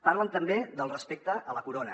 parlen també del respecte a la corona